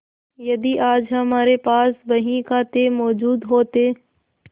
यदि आज हमारे पास बहीखाते मौजूद होते